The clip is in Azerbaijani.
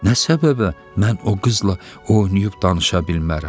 Nə səbəbə mən o qızla oynayıb danışa bilmərəm?